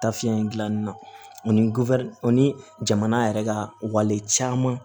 Taafiyɛn in gilanni na ani o ni jamana yɛrɛ ka wale caman